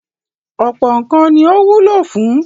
Ọ̀pọ̀ nǹkan ni ó wúlò fún.